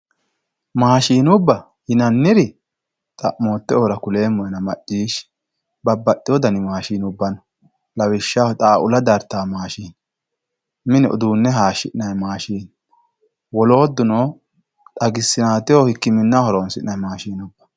maashshinubba yinanniri xa'moottoehura kuleemmohena macciishshi babbaxeewo dani maashshinubba no lawishshaho xaaula daratwo maashshine wole uduunne hayshshitawo maashshine wolootuno xagisinateho hikkiminnaho horoonsi'nay maashshine